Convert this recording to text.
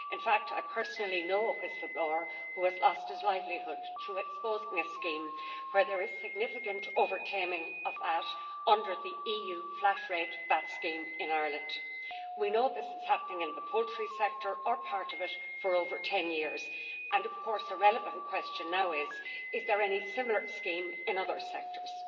In fact I personally know a whistle-blower who has lost his livelihood through exposing a scheme where there is significant over-claiming of VAT under the EU flat-rate VAT scheme in Ireland. We know that this has been happening in the poultry sector or part of it for over 10 years and of course a relevant question now is whether there is any similar scheme in other sectors.